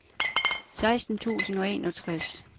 seksten tusind og enogtres